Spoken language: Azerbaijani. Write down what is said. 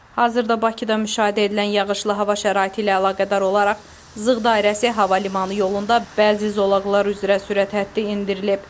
Hazırda Bakıda müşahidə edilən yağışlı hava şəraiti ilə əlaqədar olaraq Zığ dairəsi hava limanı yolunda bəzi zolaqlar üzrə sürət həddi endirilib.